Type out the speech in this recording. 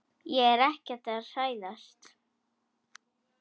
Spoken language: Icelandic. Ég er ekki að hæðast.